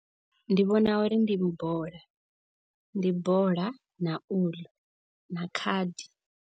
Ndi vhona uri ndi bola, ndi bola na uḽu na khadi.